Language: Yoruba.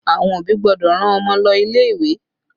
Àwọn òbí gbọ́dọ̀ rán Ọmọ lọ ilé ìwé